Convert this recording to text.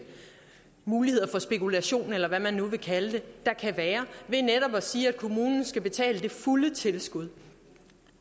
muligheder for spekulation eller hvad man nu vil kalde det der kan være ved netop at sige at kommunen skal betale det fulde tilskud